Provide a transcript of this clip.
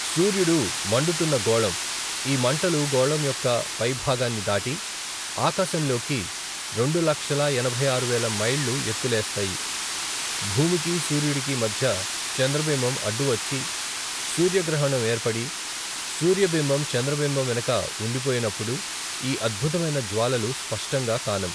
సూర్యుడు మండుతున్న గోళం ఈ మంటలు గోళం యొక్క పైభాగాన్ని దాటి ఆకాశంలోకి రెండు లక్షల ఎనభైఆరువేల మైళ్ళ ఎత్తులేస్తాయి భూమికీ సూర్యుడికీ మద్య చంద్రబింబం అడ్డు వచ్చి సూర్యగ్రహణం ఏర్పడి సూర్యబింబం చంద్రబింబం వెనక వుండిపోయినప్పుడు ఈ అద్భుతమైన జ్వాలలు స్పష్టంగా కానం.